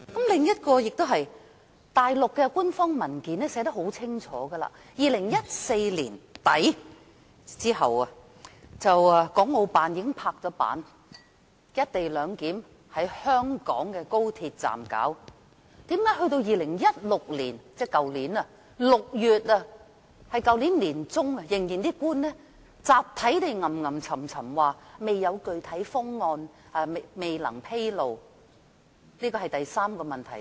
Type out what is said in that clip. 另一點是，內地的官方文件寫得很清楚，國務院港澳事務辦公室在2014年年底之後已經"拍板"在香港的高鐵站實施"一地兩檢"。為何到了去年年中，官員仍集體嘮嘮叨叨說未有具體方案、未能披露？這是第三個問題。